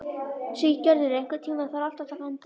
Siggerður, einhvern tímann þarf allt að taka enda.